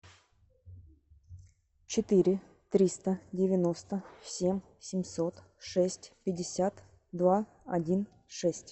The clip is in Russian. четыре триста девяносто семь семьсот шесть пятьдесят два один шесть